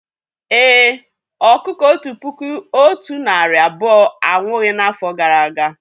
Èé, ọkụkọ otu puku otu narị abụọ anwụghị n'afọ gara aga